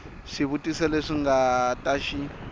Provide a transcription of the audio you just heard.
swivutiso leswi nga ta xi